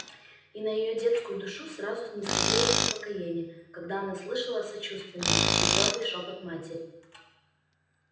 и на её детскую душу сразу нисходило успокоение когда она слышала сочувственный но твёрдый шёпот матери